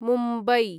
Mumbai